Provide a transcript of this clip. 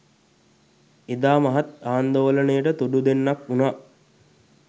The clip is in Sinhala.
එදා මහත් ආන්දෝලනයට තුඩු දෙන්නක් වුණා